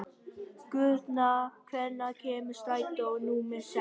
Guðna, hvenær kemur strætó númer sex?